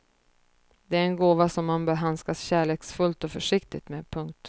Det är en gåva som man bör handskas kärleksfullt och försiktigt med. punkt